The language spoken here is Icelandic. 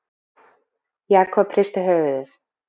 Jakob hristi höfuðið.